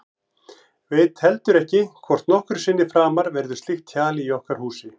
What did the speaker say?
Veit heldur ekki hvort nokkru sinni framar verður slíkt hjal í okkar húsi.